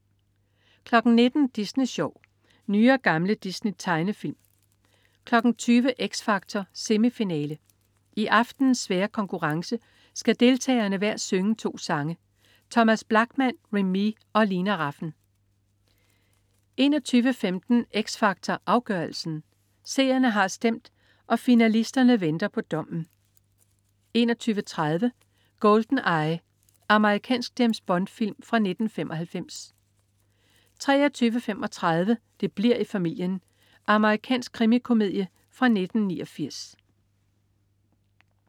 19.00 Disney Sjov. Nye og gamle Disney-tegnefilm 20.00 X Factor. Semifinale. I aftenens svære konkurrence skal deltagerne hver synge to sange. Thomas Blachman, Remee og Lina Rafn 21.15 X Factor Afgørelsen. Seerne har stemt, og finalisterne venter på dommen 21.30 GoldenEye. Amerikansk James Bond-film fra 1995 23.35 Det bli'r i familien. Amerikansk krimikomedie fra 1989